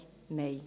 Nein.